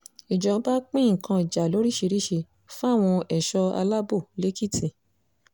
ìjọba pín nǹkan ìjà lóríṣìíríṣìí fáwọn ẹ̀ṣọ́ alábọ̀ lékìtì